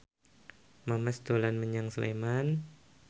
Memes dolan menyang Sleman